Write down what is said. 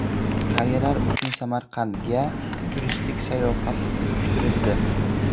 Qariyalar uchun Samarqandga turistik sayohat uyushtirildi.